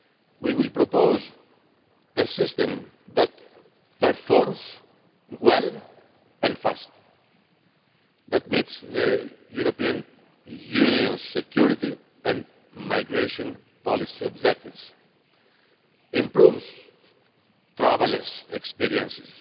We will propose a system that performs well and quickly and that meets the European Union's security and migration policy objectives, improves the traveller's experience,